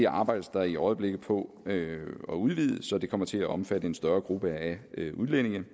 arbejdes der i øjeblikket på at udvide så de kommer til at omfatte en større gruppe af udlændinge